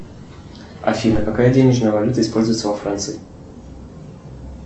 афина какая денежная валюта используется во франции